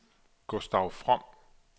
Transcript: Gustav From